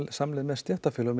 samleið með stéttarfélögum